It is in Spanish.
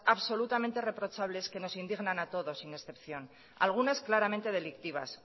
absolutamente reprochables que nos indignan a todos sin excepción algunas claramente delictivas